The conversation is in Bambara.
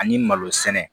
Ani malo sɛnɛ